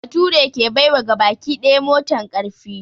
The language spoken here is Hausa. Baturi ke bai wa gabaki daya motan ƙarfi